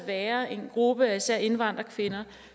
være en gruppe af især indvandrerkvinder